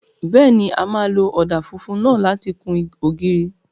Bẹ́ẹ̀ni, a máa lo ọ̀dà funfun náà láti kun ògiri.